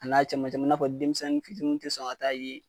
a bɛ n'a fɔ denmisɛnnin fitiini tɛ sɔn ka taa yen